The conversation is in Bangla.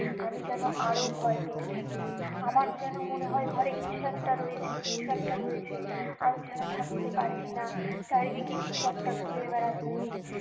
আমি যেন আরো ভয় পেতে থাকি আমার যেন মনে হয় ঘরে কিছু একটা রয়েছে কিছু একটা রয়েছে আমি যেনো থাকতে পারছি না চারিদিকে কিছু একটা ঘুরে বেড়াচ্ছে